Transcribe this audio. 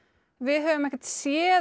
við höfum ekkert séð